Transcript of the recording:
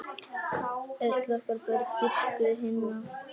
Öll okkar börn dýrkuðu Hinna.